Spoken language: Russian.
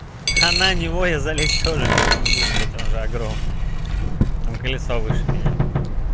а на него я залезть тоже не смогу блять он же огромный там колесо выше меня